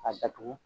K'a datugu